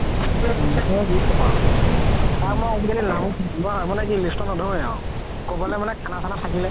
কি কবা তাৰ মই আজি কালি list ত নধৰোৱে আৰু ক'বলৈ মানে খানা চানা থাকিলে